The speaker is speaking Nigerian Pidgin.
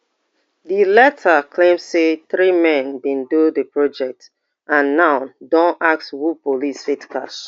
di letter claim say three men bin do di project and now don ass who police fit catch